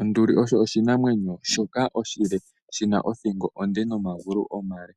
Onduli oyo oshinamwenyo shoka oshile, shina othingo onde nomagulu omale.